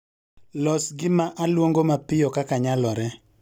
Los gima aluongo mapiyo kaka nyalore